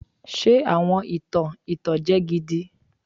Ṣe awọn itan itanjẹ gidi